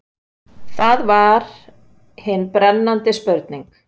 Það var hin brennandi spurning.